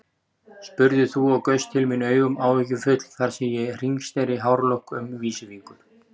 spurðir þú og gaust til mín augum áhyggjufull þar sem ég hringsneri hárlokk um vísifingur.